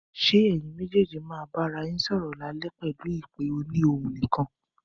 Ṣé ẹyin méjèèjì má bà ara yín sọ̀rọ̀ lálẹ́ pẹ̀lú ìpè òní ohùn nìkan